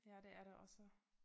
Ja det er det også